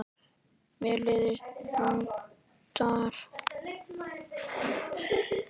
Mér leiðast luntar.